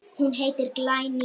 Það gerðist ekki neitt.